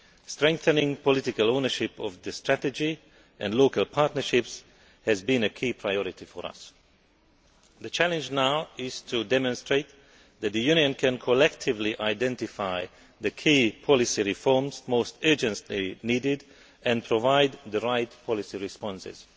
Strengthening political ownership of the Strategy and local partnerships has been a key priority for us. The challenge now is to demonstrate that the Union can collectively identify the key policy reforms most urgently needed and provide the right policy responses.